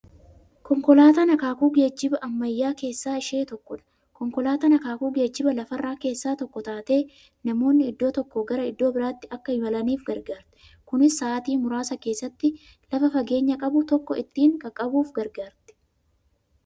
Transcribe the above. Konkolaatan akaakuu geejjiba ammayyaa keessaa ishee tokkodha. Konkolaatan akaakuu geejjiba lafarraa keessaa tokko taatee, namoonni iddoo tokkoo gara iddoo birraatti Akka imalaniif gargaarti. Kunis sa'aatii muraasa keessatti lafa fageenya qabu tokko ittiin qaqqabuuf gargaarti.